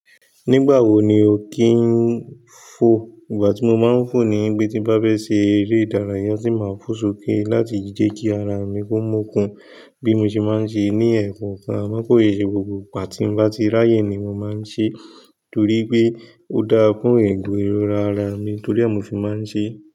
Nígbà wo ni o kì ń fò? Ìgbà tí mo máa ń fò ni gbé tí bá fẹ́ ṣe eré ìdárayá tí màá fò sókè láti je kí ara mi kó mókin bí mo ṣe máa ń ṣe ní ẹ̀kankan. N poye gbogbo ìgbà tí n bá ti ráyè ni mo máa ń ṣe torí pé ó dára fún ègùn irora ara mi torí ẹ́ mi ò fi máa ń ṣe.